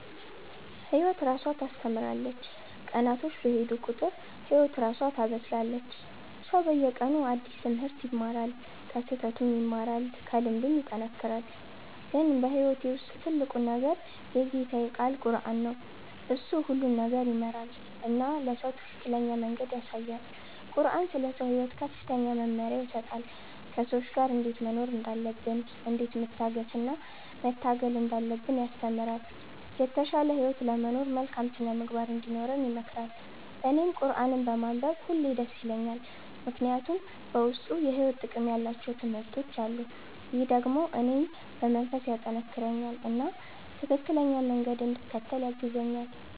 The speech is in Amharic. ህይወት እራሷ ታስተምራለች፤ ቀናቶች በሄዱ ቁጥር ህይወት እራሷ ታበስላለች። ሰው በየቀኑ አዲስ ትምህርት ይማራል፣ ከስህተቱም ይማራል፣ ከልምዱም ይጠናከራል። ግን በህይወቴ ውስጥ ትልቁ ነገር የጌታዬ ቃል ቁረአን ነው። እሱ ሁሉን ነገር ይመራል እና ለሰው ትክክለኛ መንገድ ያሳያል። ቁረአን ስለ ሰው ሕይወት ከፍተኛ መመሪያ ይሰጣል፤ ከሰዎች ጋር እንዴት መኖር እንዳለብን፣ እንዴት መታገስ እና መታገል እንዳለብን ያስተምራል። የተሻለ ህይወት ለመኖር መልካም ሥነ-ምግባር እንዲኖረን ይመክራል። እኔም ቁረአንን በማንበብ ሁሌ ደስ ይለኛል፣ ምክንያቱም በውስጡ የሕይወት ጥቅም ያላቸው ትምህርቶች አሉ። ይህ ደግሞ እኔን በመንፈስ ያጠናክረኛል እና ትክክለኛ መንገድ እንድከተል ያግዛኛል።